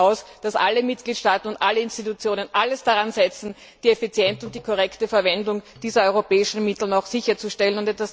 Ich gehe davon aus, dass alle Mitgliedstaaten und alle Institutionen alles daran setzen, die effiziente und korrekte Verwendung dieser europäischen Mittel sicherzustellen.